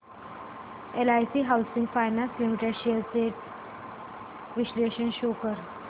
LIC housing finance limited shares trends चे विश्लेषण show कर